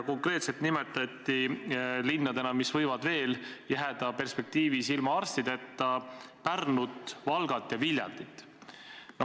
Konkreetselt nimetati linnadena, mis võivad veel jääda perspektiivis ilma arstideta, Pärnut, Valgat ja Viljandit.